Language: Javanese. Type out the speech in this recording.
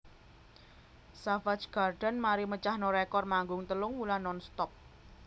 Savage Garden mari mecahno rekor manggung telung wulan nonstop